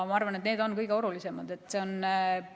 Ma arvan, et need on kõige olulisemad.